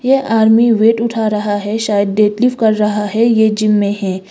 यह army weight उठा रहा है शायद डेडली कर रहा है ये जिम मे है।